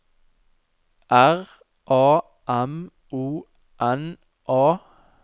R A M O N A